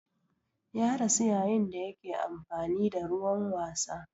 Ya rasu yayin da yake amfani da ruwan wasa.